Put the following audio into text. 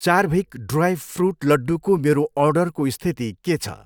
चार्भिक dry fruit लड्डूको मेरो अर्डरको स्थिति के छ।